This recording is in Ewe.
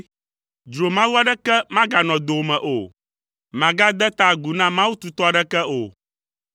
Dzromawu aɖeke maganɔ dowòme o; màgade ta agu na mawu tutɔ aɖeke o.